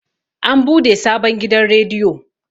an bude sabon gidan rediyo